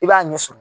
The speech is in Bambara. I b'a ɲɛ sɔrɔ